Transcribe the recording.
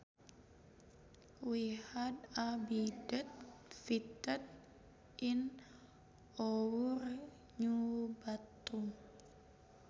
We had a bidet fitted in our new bathroom